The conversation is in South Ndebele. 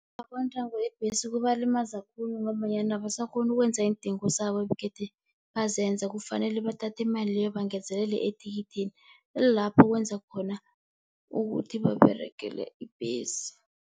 yeembhesi kubalimaza khulu ngombanyana abasakghoni ukwenza iindingo zabo ebegede bazenza. Kufanele bathathe imali leyo bangezelele ethikithini lapho kwenza khona ukuthi baberegele ibhesi.